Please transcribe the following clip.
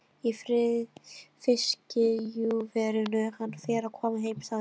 Í fiskiðjuverinu, hann fer að koma heim sagði amma.